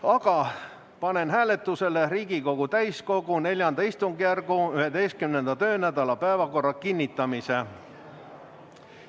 Aga panen hääletusele Riigikogu täiskogu IV istungjärgu 11. töönädala päevakorra kinnitamise.